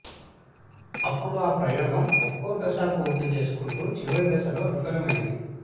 అప్పుడు ఆ ప్రయోగం ఒక్కో దశ పూర్తి చేసుకుంటూ చివరి దశలో విఫలమైంది